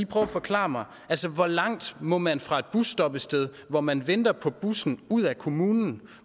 prøve at forklare mig hvor langt må man stå fra et busstoppested hvor man venter på bussen ud af kommunen